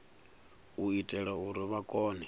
u itela uri vha kone